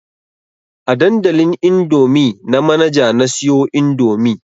A dandalin indomie na Manaja na siyo indomie